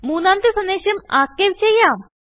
മുന്നാമത്തെ സന്ദേശംarchiveചെയ്യാം